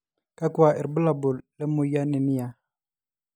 kakua irbulabol le moyian e near?